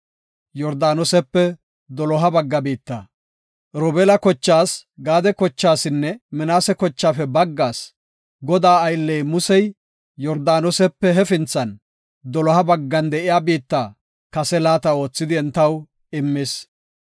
Robeela kochaas, Gaade kochaasinne Minaase kochaafe baggaas Godaa aylley Musey Yordaanosepe hefinthan, doloha baggan de7iya biitta kase laata oothidi entaw immis.